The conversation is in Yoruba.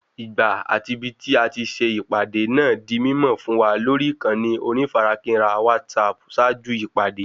Ìgbà àti ibití ati se ìpàdé náà di mímọ̀ fún wa lórí ìkànnì onífarakínra WhatsApp ṣáájú ìpàdé